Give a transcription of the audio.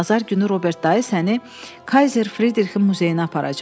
Bazar günü Robert dayı səni Kayzer Fridrixin muzeyinə aparacaq.